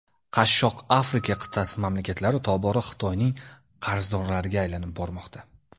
Qashshoq Afrika qit’asi mamlakatlari tobora Xitoyning qarzdorlariga aylanib bormoqda.